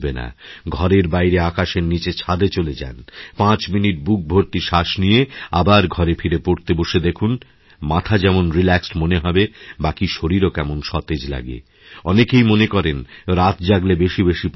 ঘরের বাইরে আকাশের নীচে ছাদে চলে যান ৫ মিনিটবুক ভর্তি শ্বাস নিয়ে আবার ঘরে ফিরে পড়তে বসে দেখুন মাথা যেমন রিল্যাক্সড মনে হবে বাকীশরীরও কেমন সতেজ লাগে অনেকেই মনে করেন রাত জাগলে বেশি বেশি পড়া হয়